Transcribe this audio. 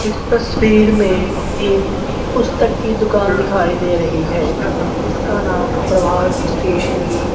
इस तस्वीर में एक पुस्तक की दुकान दिखाई दे रही है जिसका नाम प्रभात स्टेशनरी --